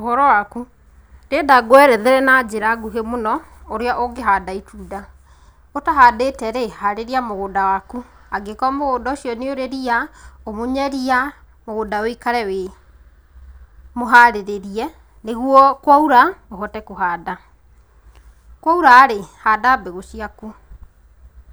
Ũhoro waku? Ndĩrenda ngwerethere na njĩra ngũhĩ mũno ũrĩa ũngĩhanda itunda, ũtahandĩte rĩ harĩria mũgũnda waku angĩkorwo mũgũnda ũcio nĩ ũrĩ ria, ũmunye ria, mũgũnda ũikare wĩ mũharĩrĩrie nĩgũo kwaura uhote kuhanda, kwa ũra-rĩ, handa mbegũ ciaku